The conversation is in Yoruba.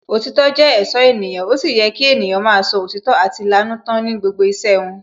Òtítọ́ jẹ́ èṣó ènìyàn, ó sì yẹ kí ènìyàn máa sọ òtítọ́ àti lanú tán ní gbogbo iṣẹ́ wọn